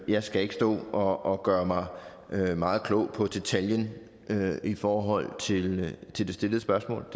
jeg skal ikke stå og gøre mig meget klog på detaljen i forhold til til det stillede spørgsmål